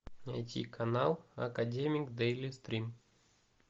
найти канал академик дейли стрим